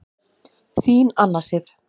Þín Anna Sif.